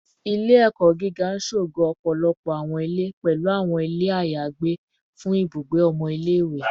Ile-ẹkọ giga n ṣogo ọpọlọpọ awọn ile, pẹlu awọn ile ayagbe fun ibugbe ọmọ ile-iwe